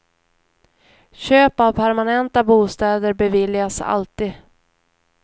Köp av permanenta bostäder beviljas alltid.